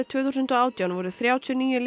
tvö þúsund og átján voru þrjátíu og níu